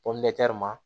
ma